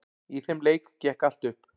Í þeim leik gekk allt upp.